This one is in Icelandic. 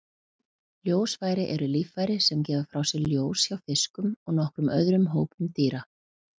Ljósfæri eru líffæri sem gefa frá sér ljós hjá fiskum og nokkrum öðrum hópum dýra.